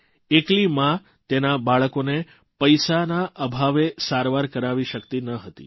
એકલી મા તેના બાળકોને પૈસાના અભાવે સારવાર કરાવી શક્તિ ન હતી